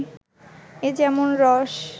এ যেমন রস